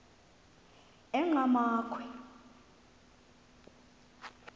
enqgamakhwe